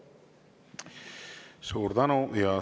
Suur tänu!